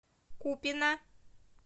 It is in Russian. купино